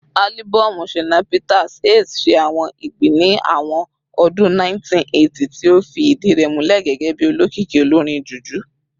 Alibọọmu Shina Peters "Ace" ṣe awọn igbi ni awọn ọdun 1980, ti o fi idi rẹ mulẹ gẹgẹbi olokiki olorin Juju.